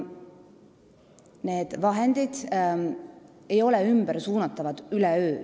Neid vahendeid ei saa üleöö ümber suunata.